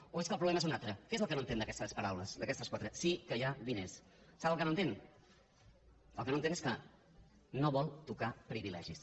o és que el problema és un altre què és el que no entén d’aquestes parau les d’aquestes quatre sí que hi ha diners sap el que no entén el que no entén és que no vol tocar privilegis